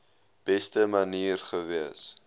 beste manier gewees